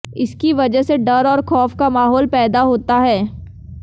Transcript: इसकी वजह से डर और खौफ का माहौल पैदा होता है